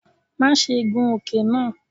Maṣe gun oke naa!